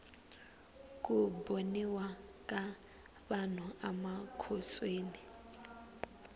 ku boniwa ka vanhu amakhotsweni